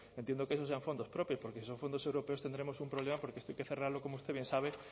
entiendo que eso sean fondos propios porque si son fondos europeos tendremos un problema porque esto hay que cerrarlo como usted bien sabe